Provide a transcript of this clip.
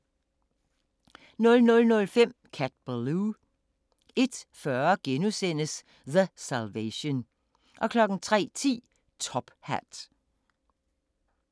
00:05: Cat Ballou 01:40: The Salvation * 03:10: Top Hat